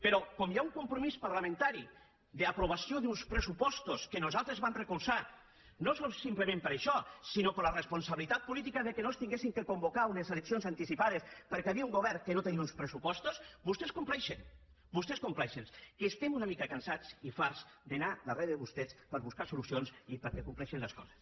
però com hi ha un compromís parlamentari d’aprovació d’uns pressupostos que nosaltres vam recolzar no simplement per això sinó per la responsabilitat política que no s’haguessin de convocar unes eleccions anticipades perquè hi havia un govern que no tenia uns pressupostos vostès compleixen vostès compleixen que estem una mica cansats i farts d’anar darrere de vostès per buscar solucions i perquè compleixen les coses